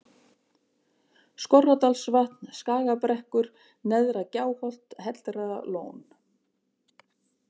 Skorradalsvatn, Skagabrekkur, Neðra-Gjáholt, Hellralón